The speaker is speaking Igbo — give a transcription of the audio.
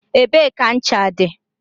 Ebee ka ncha dị?